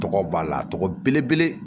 Tɔgɔ b'a la tɔgɔ ye